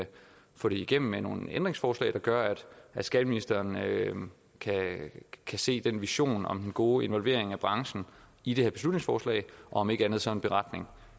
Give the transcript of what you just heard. få det igennem med nogle ændringsforslag der gør at skatteministeren kan kan se den vision om den gode involvering af branchen i det her beslutningsforslag og om ikke andet laver en beretning